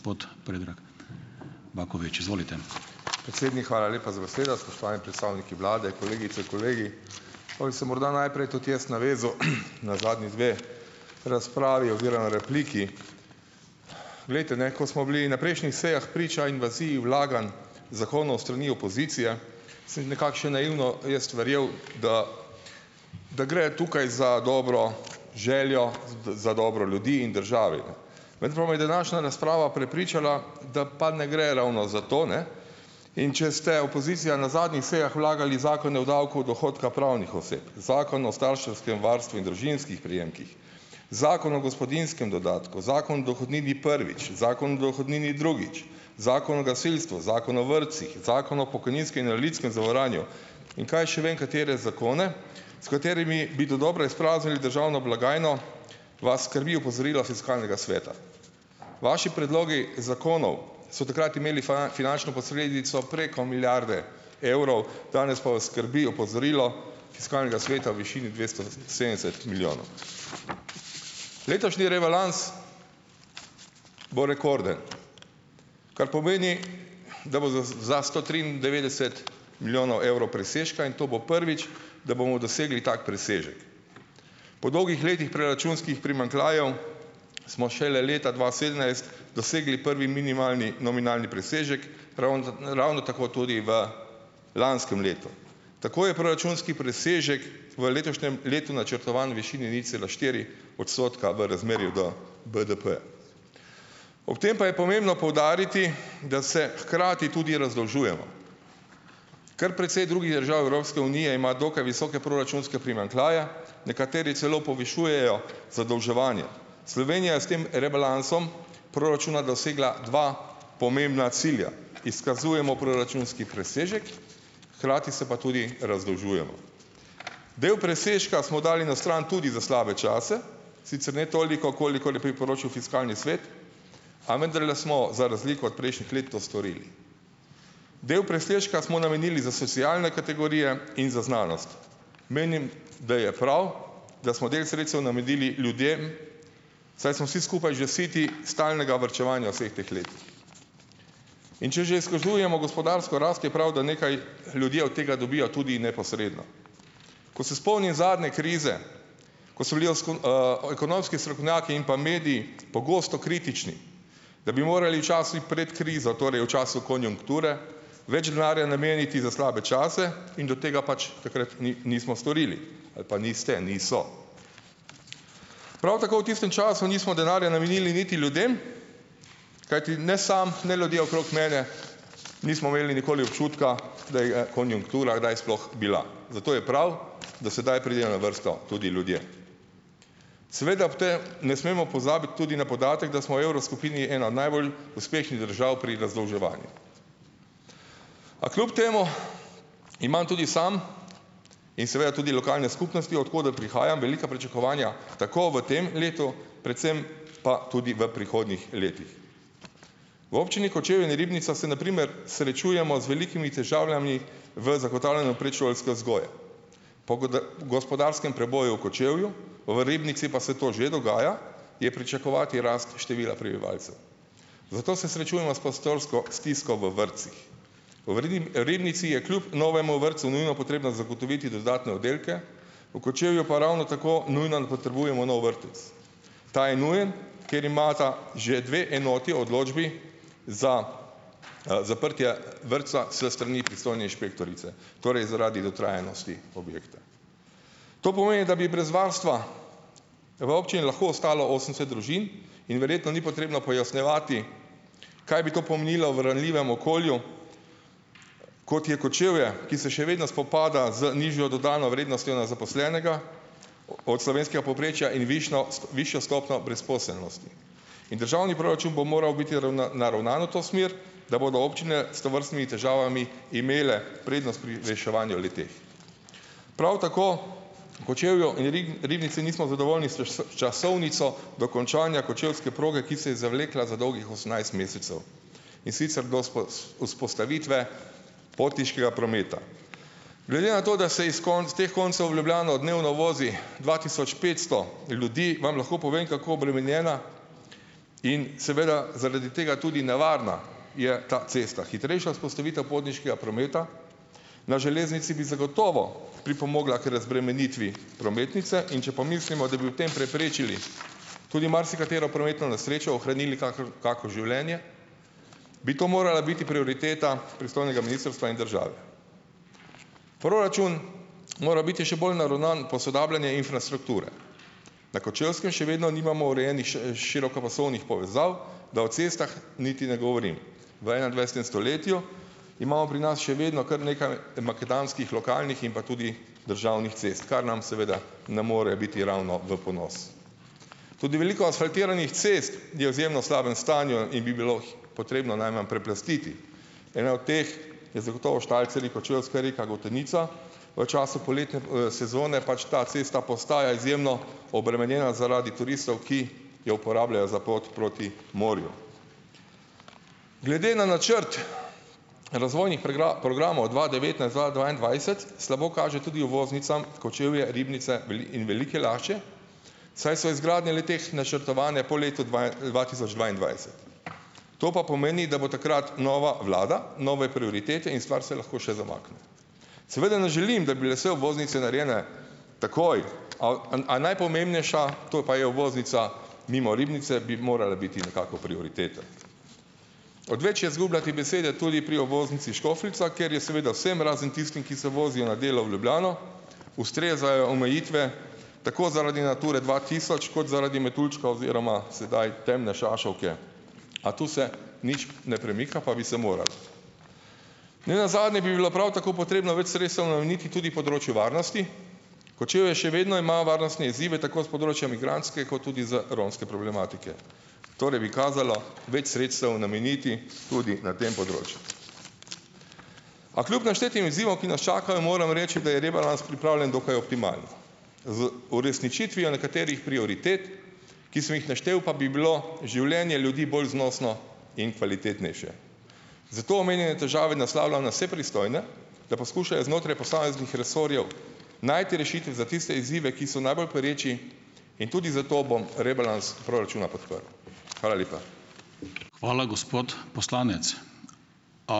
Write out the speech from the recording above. Predsednik, hvala lepa za besedo. Spoštovani predstavniki vlade, kolegice, kolegi! Pa bi se morda najprej tudi jaz navezal na zadnji dve razpravi oziroma repliki. Glejte, ne, ko smo bili na prejšnjih sejah priča invaziji vlaganj zakonov s strani opozicije, sem nekako še naivno jaz verjel, da da gre tukaj za dobro željo, tudi za dobro ljudi in države, ne, vendar me je današnja razprava prepričala, da pa ne gre ravno za to, ne, in če ste opozicija na zadnjih sejah vlagali zakone o davku od dohodka pravnih oseb, zakon o starševskem varstvu in družinskih prejemkih, zakon o gospodinjskem dodatku, zakon o dohodnini prvič, zakon o dohodnini drugič, zakon o gasilstvu, zakon o vrtcih, zakon o pokojninskem in invalidskem zavarovanju, in kaj še vem katere zakone, s katerimi bi dodobra izpraznili državno blagajno, vas skrbi opozorilo fiskalnega sveta. Vaši predlogi zakonov so takrat imeli finančno posledico preko milijarde evrov, danes pa vas skrbi opozorilo fiskalnega sveta v višini dvesto sedemdeset milijonov. Letošnji rebalans bo rekorden, kar pomeni, da bo za za sto triindevetdeset milijonov evrov presežka in to bo prvič, da bomo dosegli tak presežek. Po dolgih letih proračunskih primanjkljajev smo šele leta dva sedemnajst dosegli prvi minimalni nominalni presežek, ravno ravno tako tudi v lanskem letu. Tako je proračunski presežek v letošnjem letu načrtovan v višini nič cela štiri odstotka v razmerju do BDP-ja. Ob tem pa je pomembno poudariti, da se hkrati tudi razdolžujemo. Kar precej drugih držav Evropske unije ima dokaj visoke proračunske primanjkljaje, nekateri celo povišujejo zadolževanje. Slovenija je s tem rebalansom proračuna dosegla dva pomembna cilja: izkazujemo proračunski presežek, hkrati se pa tudi razdolžujemo. Del presežka smo dali na stran tudi za slabe čase. Sicer ne toliko, kolikor je priporočil fiskalni svet, a vendarle smo za razliko od prejšnjih let to storili. Del presežka smo namenili za socialne kategorije in za znanost. Menim, da je prav, da smo del sredstev namenili ljudem, saj smo vsi skupaj že siti stalnega varčevanja v vseh teh letih. In če že izkazujemo gospodarsko rast, je prav, da nekaj ljudje od tega dobijo tudi neposredno. Ko se spomnim zadnje krize, ko so bili o ekonomski strokovnjaki in pa mediji pogosto kritični, da bi morali časih prej krizo, torej v času konjunkture, več denarja nameniti za slabe čase in da tega pač takrat nismo storili, ali pa niste, niso. Prav tako v tistem času nismo denarja namenili niti ljudem, kajti ne samo, ne, ljudje okrog mene nismo imeli nikoli občutka, da je konjunktura kdaj sploh bila, zato je prav, da sedaj pridejo na vrsto tudi ljudje. Seveda ob te ne smemo pozabiti tudi na podatek, da smo v evroskupini ena najbolj uspešnih držav pri razdolževanju, a kljub temu imam tudi sam in seveda tudi lokalne skupnosti, od koder prihajam, velika pričakovanja tako v tem letu, predvsem pa tudi v prihodnjih letih. V občini Kočevje in Ribnica se na primer srečujemo z velikimi težavami v zagotavljanju predšolske vzgoje. Po gospodarskem preboju v Kočevju, v Ribnici pa se to že dogaja, je pričakovati rast števila prebivalcev, zato se srečujemo s prostorsko stisko v vrtcih. V Ribnici je kljub novemu vrtcu nujno potrebno zagotoviti dodatne oddelke, v Kočevju pa ravno tako nujno potrebujemo nov vrtec. Ta je nujen, ker imata že dve enoti odločbi za, zaprtje vrtca s strani pristojne inšpektorice, torej zaradi dotrajanosti objekta. To pomeni, da bi brez varstva v občini lahko ostalo osemdeset družin in verjetno ni potrebno pojasnjevati, kaj bi to pomnilo v ranljivem okolju, kot je Kočevje, ki se še vedno spopada z nižjo dodano vrednostjo na zaposlenega o od slovenskega povprečja in višno višjo stopnjo brezposelnosti. In državni proračun bo moral biti naravnan v to smer, da bodo občine s tovrstnimi težavami imele prednost pri reševanju le-teh. Prav tako v Kočevju in Ribnici nismo zadovoljni s s s časovnico dokončanja Kočevske proge, ki se je zavlekla za dolgih osemnajst mesecev, in sicer do vzpostavitve potniškega prometa. Glede na to, da se iz teh koncev v Ljubljano dnevno vozi dva tisoč petsto ljudi, vam lahko povem, kako obremenjena in seveda zaradi tega tudi nevarna je ta cesta. Hitrejša vzpostavitev potniškega prometa na železnici bi zagotovo pripomogla k razbremenitvi prometnice, in če pomislimo, da bi v tem preprečili tudi marsikatero prometno nesrečo, ohranili kakor kako življenje, bi to morala biti prioriteta pristojnega ministrstva in države. Proračun mora biti še bolj naravnan posodabljanje infrastrukture. Na Kočevskem še vedno nimamo urejenih širokopasovnih povezav, da o cestah niti ne govorim. V enaindvajsetem stoletju imamo pri nas še vedno kar nekaj makadamskih, lokalnih in pa tudi državnih cest, kar nam seveda ne more biti ravno v ponos. Tudi veliko asfaltiranih cest je v izjemno slabem stanju in bi bilo potrebno najmanj preplastiti. Ena od teh je zagotovo Štalcerji-Kočevska Reka-Gotenica v času poletne, sezone pač ta cesta postaja izjemno obremenjena zaradi turistov, ki jo uporabljajo za pot proti morju. Glede na načrt razvojnih programov dva devetnajst-dva dvaindvajset slabo kaže tudi uvoznicam Kočevje, Ribnica in Velike Lašče, saj so izgradnje le-teh načrtovane po letu dve, dva tisoč dvaindvajset. To pa pomeni, da bo takrat nova vlada, nove prioritete in stvar se lahko še zamakne. Seveda ne želim, da bi le se obvoznice narejene takoj, o, a najpomembnejša, to je pa je obvoznica mimo Ribnice, bi morala biti nekako prioriteta. Odveč je izgubljati besede tudi pri obvoznici Škofljica, kjer je seveda vsem, razen tistim, ki se vozijo na delo v Ljubljano, ustrezajo omejitve tako zaradi Nature dva tisoč kot zaradi metuljčka oziroma sedaj temne šašovke, a tu se nič ne premika, pa bi se moralo. Ne nazadnje bi bilo prav tako potrebno več sredstev nameniti tudi področju varnosti. Kočevje še vedno ima varnostne izzive tako s področja migrantske kot tudi z romske problematike. Torej bi kazalo več sredstev nameniti tudi na tem področju. A kljub naštetim izzivom, ki nas čakajo, moram reči, da je rebalans pripravljen dokaj optimalno. Z uresničitvijo nekaterih prioritet, ki sem jih naštel, pa bi bilo življenje ljudi bolj znosno in kvalitetnejše. Zato omenjene težave naslavljam na vse pristojne, da poskušajo znotraj posameznih resorjev najti rešitve za tiste izzive, ki so najbolj pereči, in tudi zato bom rebalans proračuna podprl. Hvala lepa.